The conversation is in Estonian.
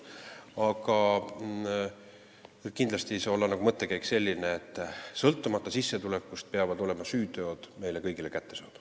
Aga kindlasti ei saa mõttekäik olla selline, et sõltumata sissetulekust peavad süüteod olema meile kõigile kättesaadavad.